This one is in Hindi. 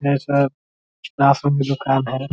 यह सब राशन की दुकान है ।